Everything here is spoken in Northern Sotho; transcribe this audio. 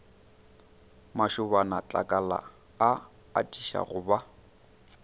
mašobanatlakala a atiša go ba